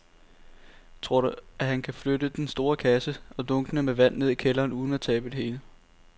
Tror du, at han kan flytte den store kasse og dunkene med vand ned i kælderen uden at tabe det hele?